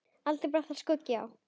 Aldrei bar þar skugga á.